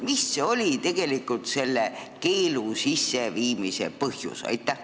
Mis oli tegelikult selle keelu sisseviimise põhjus?